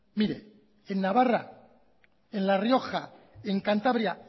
mire en navarra en la rioja en cantabria